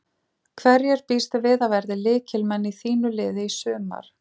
Hverjir býstu við að verði lykilmenn í þínu liði í sumar?